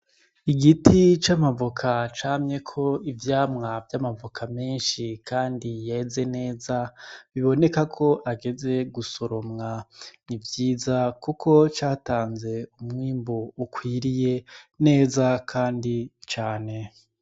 Igiti c'amavoka camyeko ivyamwa vy'amavoka menshi Kandi yeze neza biboneka ko ageze gusoromwa, n'ivyiza kuko catanze umwimbu ukwiriye neza Kandi cane.